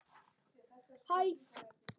Nú rofar heldur betur til.